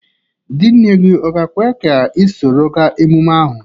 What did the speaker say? Di nne gị ọ ga-ekwe ka ị soro ga emume ahụ?